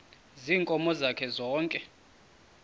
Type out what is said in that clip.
ziinkomo zakhe zonke